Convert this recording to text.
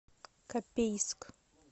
копейск